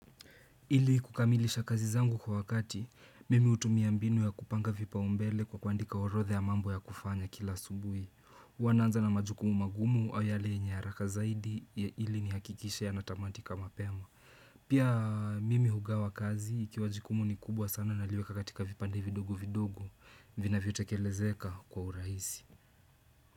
Ili kukamilisha kazi zangu kwa wakati, mimi hutumia mbinu ya kupanga vipaumbele kwa kuandika orodha ya mambo ya kufanya kila asubuhi. Huwaa naanza na majukumu magumu au yale yenye haraka zaidi ili nihakikishe yanatamatika mapema. Pia mimi hugawa kazi, ikiwa jukumu ni kubwa sana naliweka katika vipande vidogo vidogo, vinavyotekelezeka kwa urahisi.